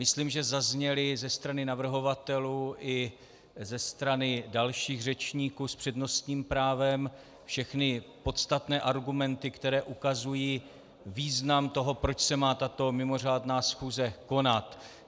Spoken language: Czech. Myslím, že zazněly ze strany navrhovatelů i ze strany dalších řečníků s přednostním právem všechny podstatné argumenty, které ukazují význam toho, proč se má tato mimořádná schůze konat.